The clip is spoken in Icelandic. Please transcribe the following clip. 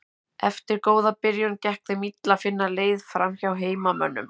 Eftir góða byrjun gekk þeim illa að finna leið framhjá heimamönnum.